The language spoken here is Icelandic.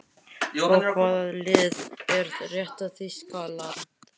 Svo hvaða lið er rétta Þýskaland?